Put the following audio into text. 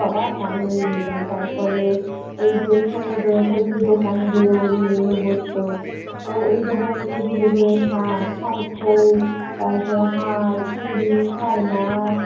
বাবা! ঝালমুড়ি গুলো। তারপরে ওই যে সমুদ্রর উপর যে দোকানগুলো নিয়ে নিয়ে বসতো, তো দোকানগুলো ঘুরে ঘুরে শাখ শঙ্খ তারপর হার চুরি খেলনা